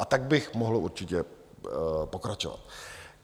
A tak bych mohl určitě pokračovat.